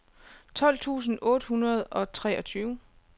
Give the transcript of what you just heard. tolv tusind otte hundrede og treogtyve